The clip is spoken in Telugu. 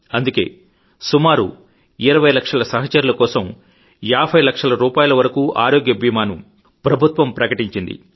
అందుకే సుమారు 20 లక్షల సహచరుల కోసం 50 లక్షల రూపాయల వరకు ఆరోగ్య బీమాను ప్రభుత్వం ప్రకటించింది